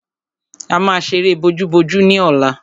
A máa ṣeré bojúbojú ní ọ̀la.